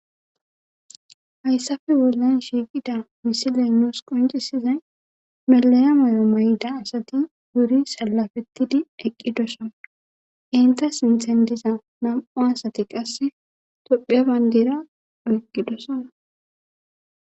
hayssafe wollen shiiqida misiley nuus qoncisizay meleya moyo mayda asati buri sallafettidi eqqidosona inta sinthan diza nam7o asati qasse tophea bayndera oyqqidosona